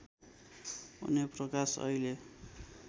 उनै प्रकाश अहिले